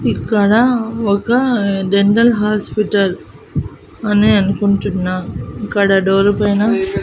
ఇక్కడ ఒక general hospital అనే అనుకుంటున్నా ఇక్కడ డోరు పైన--